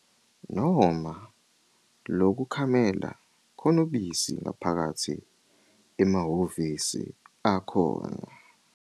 .noma lokukhamela khona ubisi ngaphakathi emahhovisi akhona.